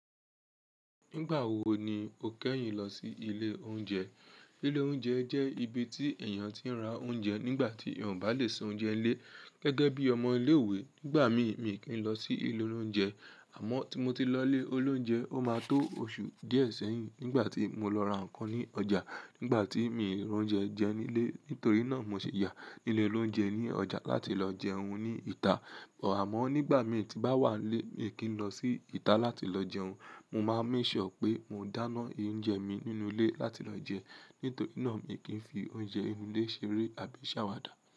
Nígbà wo ni o kẹ́yìn lọ sí ilé oúnjẹ? Ilé oúnjẹ jẹ́ ibi tí èèyàn ti ń ra oúnjẹ nígbà tí èèyàn ò bá lè ṣe oúnjẹ nílé. Gẹ́gẹ́ bí ọmọ ilé-ìwé, nígbà mí, mi kì í lọ sí ilé oúnjẹ. Àmọ́ tí mo ti lọ ilé oúnjẹ, ó máa tó oṣù díẹ̀ sẹ́yìn, nígbà tí mo lọ ra nǹkan ní ọjà. Nígbà tí mi ò ní oúnjẹ jẹ nílé, nítorí náà mo ṣi yà ní ilé oloúnjẹ ní ọjà láti lọ jẹun ní ìta. Ò, àmọ́ nígbà mí tí bá wà nílé, mi kì í lọ sí ìta láti lọ jẹun. Mo máa ń ìṣọ̀ pé mo dáná oúnjẹ mi nínú ilé láti lọ jẹun. Nítorí náà mi kì í fi oúnjẹ inú ilé ṣeré àbí ṣàwàdà.